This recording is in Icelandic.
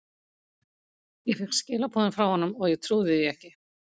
Ég fékk skilaboð frá honum og ég trúði því ekki.